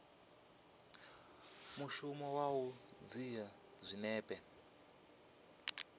mushumo wa u dzhia zwinepe